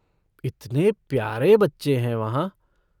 इतने प्यारे बच्चे हैं वहाँ।